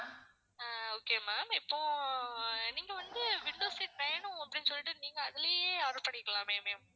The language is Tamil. அஹ் okay ma'am இப்போ நீங்க வந்து window seat வேணும் அப்படின்னு சொல்லிட்டு நீங்க அதுலேயே order பண்ணிருக்கலாமே ma'am